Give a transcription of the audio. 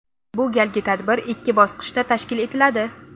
Bu galgi tadbir ikki bosqichda tashkil etiladi.